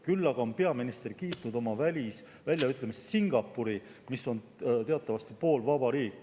Küll aga on peaminister kiitnud oma välisväljaütlemistes Singapuri, mis on teatavasti poolvaba riik.